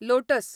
lotus